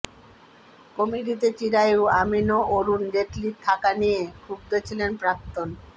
কমিটিতে চিরায়ু আমিন ও অরুন জেটলির থাকা নিয়ে ক্ষুব্ধ ছিলেন প্রাক্তন